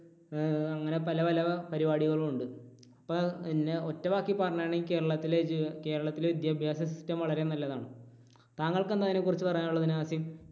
ഏർ അങ്ങനെ പല പല പരിപാടികളും ഉണ്ട്. അപ്പോൾ പിന്നെ ഒറ്റവാക്കിൽ പറയുകയാണെങ്കിൽ കേരളത്തിലെ കേരളത്തിലെ വിദ്യാഭ്യാസ system വളരെ നല്ലതാണ്. താങ്കൾക്ക് എന്താണ് അതിനെ കുറിച്ച് പറയാനുള്ളത്. നാസിം?